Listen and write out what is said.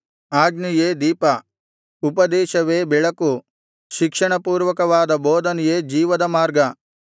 ಆಜ್ಞೆಯೇ ದೀಪ ಉಪದೇಶವೇ ಬೆಳಕು ಶಿಕ್ಷಣಪೂರ್ವಕವಾದ ಬೋಧನೆಯೇ ಜೀವದ ಮಾರ್ಗ